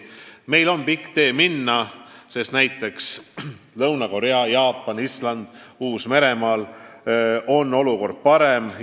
Meil on pikk tee minna, sest näiteks Lõuna-Koreas, Jaapanis, Islandil ja Uus-Meremaal on olukord parem.